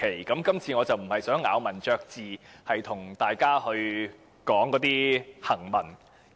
我今次並不想咬文嚼字，與大家討論行文。